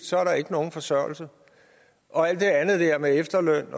så er der ikke nogen forsørgelse og alt det andet med efterløn